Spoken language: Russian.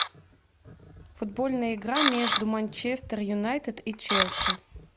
футбольная игра между манчестер юнайтед и челси